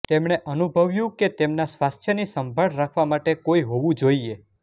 તેમણે અનુભવ્યું કે તેમના સ્વાસ્થ્યની સંભાળ રાખવા માટે કોઈ હોવું જોઈએ